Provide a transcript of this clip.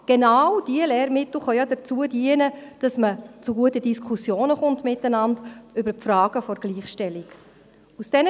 Genau diese Lehrmittel können dazu dienen, dass man miteinander über die Frage der Gleichstellung zu guten Diskussionen kommt.